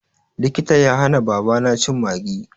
Likita ya hana babana cin Maggi.